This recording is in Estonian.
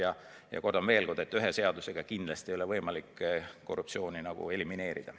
Aga kordan veel kord, et ühe seadusega kindlasti ei ole võimalik korruptsiooni elimineerida.